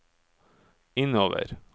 innover